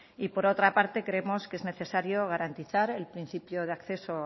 y por otra parte creemos que es necesario garantizar el principio de acceso